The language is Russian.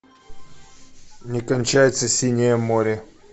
не кончается синее море